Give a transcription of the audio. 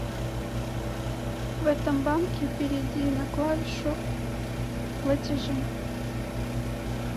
в этом банке перейди на клавишу платежи